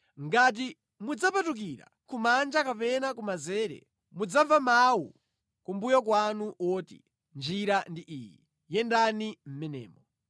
Ngati mudzapatukira kumanja kapena kumanzere, mudzamva mawu kumbuyo kwanu woti, “Njira ndi iyi; yendani mʼmenemo.”